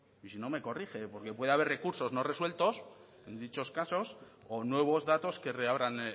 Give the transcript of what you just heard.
y si no me corrige porque puede haber recursos no resueltos en dichos casos o nuevos datos que reabran